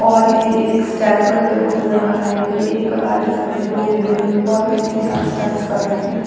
और ये एक स्टेप करते हुए नज़र आ रहे है एक प्रकार के सभी लोग यहाँ यूनीफॉर्मिलिटी के साथ स्टेप करते हुए नज़र आरहे है।